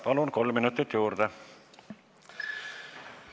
Palun, kolm minutit juurde!